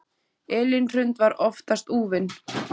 Elín Hrund var oftast úfin.